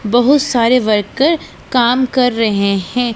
बहुत सारे वर्कर काम कर रहे हैं।